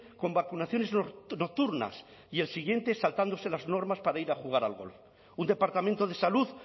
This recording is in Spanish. con vacunaciones nocturnas y al siguiente saltándose las normas para ir a jugar al golf un departamento de salud